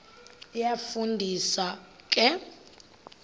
iyafu ndisa ke